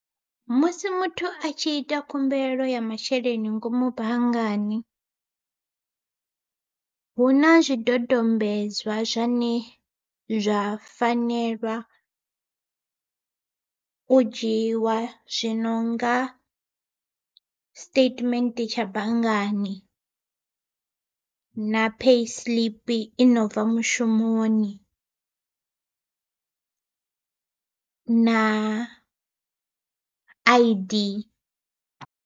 Musi muthu a tshi ita khumbelo ya masheleni ngomu banngani, huna zwidodombedzwa zwane zwa fanelwa u dzhiiwa zwi nonga siṱetimethe tsha banngani na payi siḽipi inobva mushumoni na I_D.